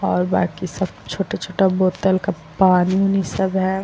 और बाकि सब छोटा-छोटा बॉटल का पानी-ऊनि सब है ।